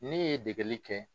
Ne ye degeli kɛ.